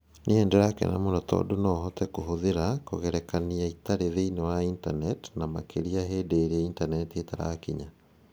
Nĩ ndĩrakena mũno tondũ no hote kũhũthĩra kũgerekania itarĩ thĩinĩ wa Intaneti, na makĩria hĩndĩ ĩrĩa Intaneti ĩtarakinya